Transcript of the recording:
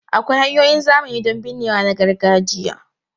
Akwai hanyoyin zamani don binnewa na gargajiya.